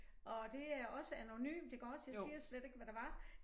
Og det er også anonymt iggås jeg siger slet ikke hvad det var